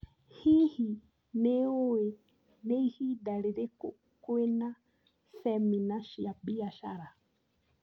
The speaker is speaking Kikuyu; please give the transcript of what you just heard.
Hihi, nĩ ũĩ nĩ ihinda rĩrĩkũ kwĩna cemina cia biacara?